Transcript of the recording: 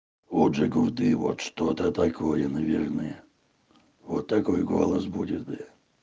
у джигурды вот что такое наверное вот такой голос будет бля